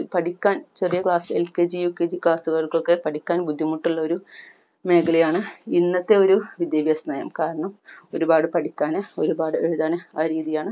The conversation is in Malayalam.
പഠിക്കാൻ ചെറിയ class LKG UKG class കൾക്കൊക്കെ പഠിക്കാൻ ബുദ്ധിമുട്ട് ഉള്ള ഒരു മേഖലയാണ് ഇന്നത്തെ ഒരു വിദ്യാഭ്യാസ നയം കാരണം ഒരുപാട് പഠിക്കാനും ഒരുപാടു എഴുതാനും ആ രീതിയാണ്